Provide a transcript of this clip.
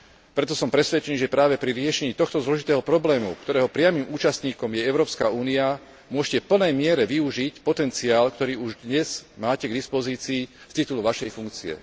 Preto som presvedčený, že práve pri riešení tohto zložitého problému, ktorého priamym účastníkom je Európska únia, môžete v plnej miere využiť potenciál, ktorý už dnes máte k dispozícii z titulu vašej funkcie.